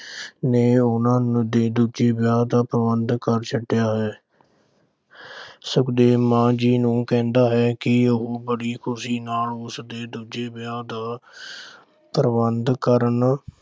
ਨੇ ਉਨ੍ਹਾਂ ਦੇ ਦੂਜੇ ਵਿਆਹ ਦਾ ਪ੍ਰਬੰਧ ਕਰ ਛੱਡਿਆ ਹੈ। ਸੁਖਦੇਵ ਮਾਂ ਜੀ ਨੂੰ ਕਹਿੰਦਾ ਹੈ ਕਿ ਉਹ ਬੜੀ ਖੁਸ਼ੀ ਨਾਲ ਉਸਦੇ ਦੂਜੇ ਵਿਆਹ ਦਾ ਪ੍ਰਬੰਧ ਕਰਨ।